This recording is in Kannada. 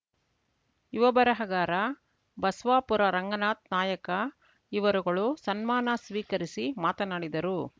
ಯುವ ಬರಹಗಾರ ಬಸವಾಪುರ ರಂಗನಾಥ್‌ ನಾಯಕ ಇವರುಗಳು ಸನ್ಮಾನ ಸ್ವೀಕರಿಸಿ ಮಾತನಾಡಿದರು